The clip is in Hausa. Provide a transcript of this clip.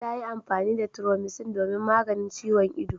Ta yi amfani da Thromycin domin maganin ciwon ido.